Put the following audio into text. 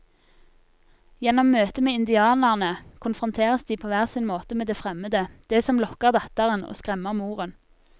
Gjennom møtet med indianerne konfronteres de på hver sin måte med det fremmede, det som lokker datteren og skremmer moren.